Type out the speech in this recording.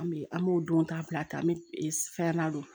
An bɛ an b'o don ta bila ten an bɛ fɛn na don